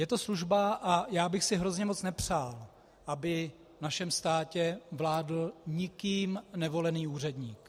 Je to služba a já bych si hrozně moc nepřál, aby v našem státě vládl nikým nevolený úředník.